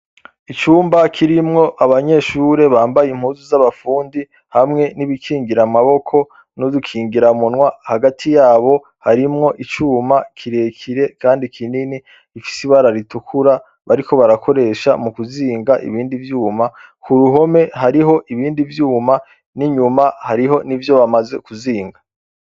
Icumba kirimwo abanyeshure bambaye impuzu z'abafundi hamwe n'ibikingira amaboko n'udukingira umunwa hagati yabo harimwo icuma kirekire kandi kinini ifise ibara ritukura bariko barakoresha mu kuzinga ibindi vyuma ku ruhome hariho ibindi vyuma n'inyuma hariho n'ivyo bamaze kuzinga.